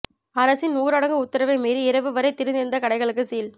அரசின் ஊரடங்கு உத்தரவை மீறி இரவு வரை திறந்திருந்த கடைகளுக்கு சீல்